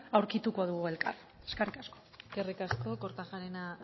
aurkitu dugu elkar eskerrik asko eskerrik asko kortajarena